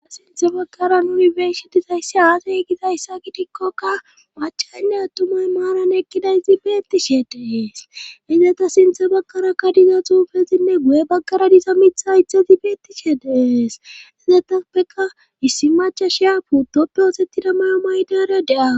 aa sinthe baggaranunibersi dizayssi aasay gizayssa gidikkoka machanne attumay maaran ekkida izibeetti shee dees izeta sinthe baggarakka diza xuufezinne guye baggara diza mitha itha zibeettishe dees izetappeka issi macha shiya puutoppe oosettida mayo maydeere de'awus